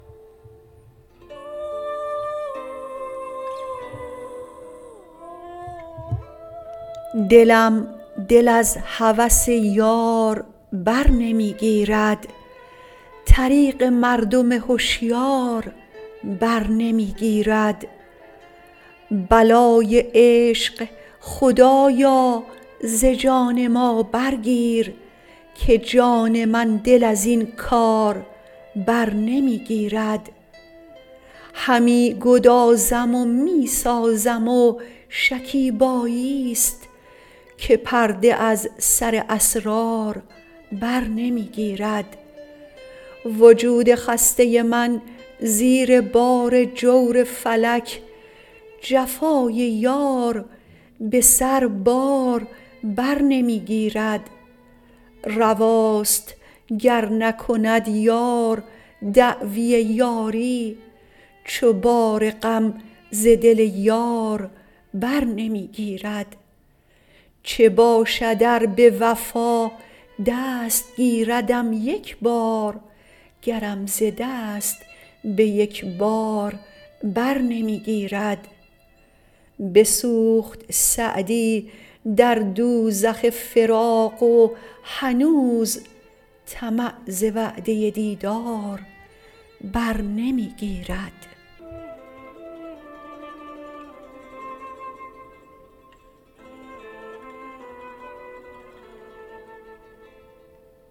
دلم دل از هوس یار بر نمی گیرد طریق مردم هشیار بر نمی گیرد بلای عشق خدایا ز جان ما برگیر که جان من دل از این کار بر نمی گیرد همی گدازم و می سازم و شکیباییست که پرده از سر اسرار بر نمی گیرد وجود خسته من زیر بار جور فلک جفای یار به سربار بر نمی گیرد رواست گر نکند یار دعوی یاری چو بار غم ز دل یار بر نمی گیرد چه باشد ار به وفا دست گیردم یک بار گرم ز دست به یک بار بر نمی گیرد بسوخت سعدی در دوزخ فراق و هنوز طمع ز وعده دیدار بر نمی گیرد